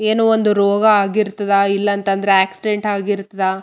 ಎಲ್ಲಾರು ಇರ್ತಾರ ಚಕಪ್‌ ಮಾಡ್ತಾರ.